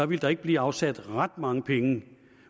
ville der ikke blive afsat ret mange penge